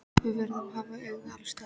Við verðum að hafa augun alls staðar.